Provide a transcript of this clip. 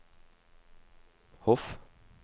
Hof